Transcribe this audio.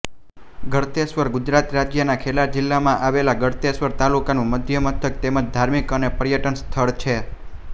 ગળતેશ્વર ગુજરાત રાજ્યના ખેડા જિલ્લામાં આવેલા ગળતેશ્વર તાલુકાનું મુખ્યમથક તેમજ ધાર્મિક અને પર્યટન સ્થળ છે